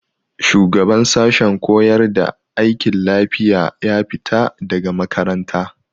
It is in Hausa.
Shugaban sashen koyar da aikin lafiya ya fita daga makaranta.